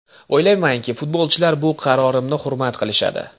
O‘ylaymanki, futbolchilar bu qarorimni hurmat qilishadi.